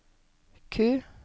Q